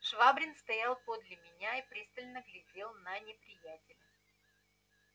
швабрин стоял подле меня и пристально глядел на неприятеля